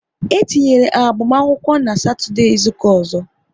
E tinyera agbamakwụkwọ n' Satọdee izuka ọzọ